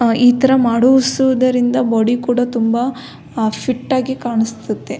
ಈ ತರ ಮಾಡಿಸುವುದರಿಂದ ಬೋಡಿ ಕೂಡ ತುಂಬ ಫಿಟ್ ಆಗಿ ಕಾಣಸ್ತುತೆ .